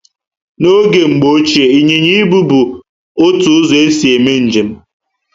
N'oge Mgbo Ochié ,Inyịnya Ibu bu otu ụzọ esi eme njem